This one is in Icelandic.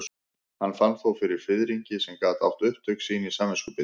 Hann fann þó fyrir fiðringi sem gat átt upptök sín í samviskubiti.